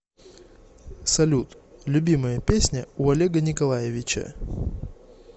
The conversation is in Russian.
салют любимая песня у олега николаевича